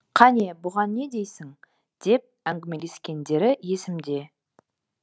қане бұған не дейсің деп әңгімелескендері есімде